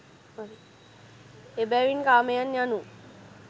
එබැවින් කාමයන් යනු